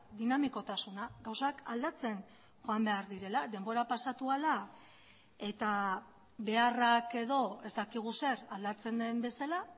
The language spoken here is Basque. dinamikotasuna gauzak aldatzen joan behar direla denbora pasatu ahala eta beharrak edo ez dakigu zer aldatzen den bezala